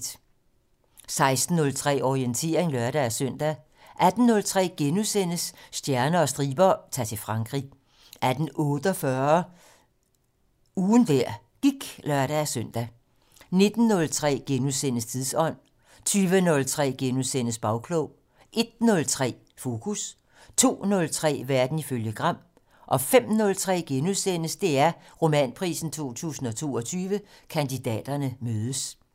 16:03: Orientering (lør-søn) 18:03: Stjerner og striber - Ta'r til Frankrig * 18:48: Ugen der gik (lør-søn) 19:03: Tidsånd * 20:03: Bagklog * 01:03: Fokus 02:03: Verden ifølge Gram * 05:03: DR Romanprisen 2022 - Kandidaterne mødes *